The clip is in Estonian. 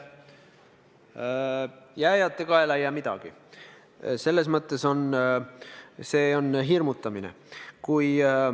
Jääjate kaela ei jää midagi – selles mõttes on see hirmutamine.